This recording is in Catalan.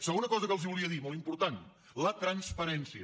segona cosa que els volia dir molt important la transparència